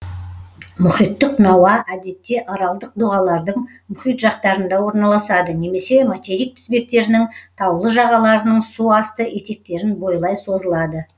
мұхиттық науа әдетте аралдық доғалардың мұхит жақтарында орналасады немесе материк тізбектерінің таулы жағаларының су асты етектерін бойлай созылады